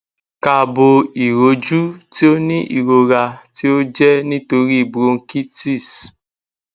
kaabo iroju ti o ni irora ti o jẹ nitori bronchitis